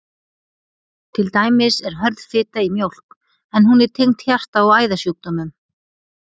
Til dæmis er hörð fita í mjólk, en hún er tengd hjarta- og æðasjúkdómum.